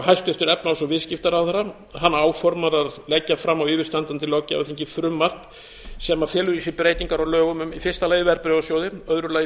hæstvirtur efnahags og viðskiptaráðherra áformar að leggja fram á yfirstandandi löggjafarþingi frumvarp sem felur í sér breytingar á lögum um í fyrsta lagi verðbréfasjóði í öðru lagi